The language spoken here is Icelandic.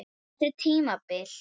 Þetta tímabil?